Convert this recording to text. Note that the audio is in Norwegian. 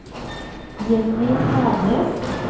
Jenny Hernes